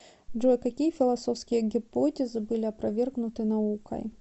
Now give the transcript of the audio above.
джой какие философские гипотезы были опровергнуты наукой